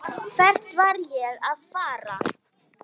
Hvert var ég að fara?